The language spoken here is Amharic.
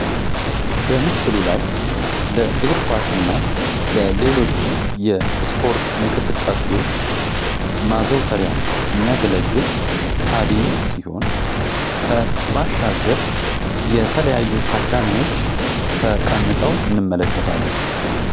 በምስሉ ላይ የእግርኳስ እና ሌሎች የስፖርት እንቅስቃሴዎች ማዘውተሪያ የሚያገለግል ስታዲየም ሲሆን ባሻገር የተለያዩ ታዳሚዎች ተቀምጠው እንመለከታለን።